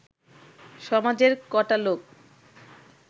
সমাজের ক’টা লোক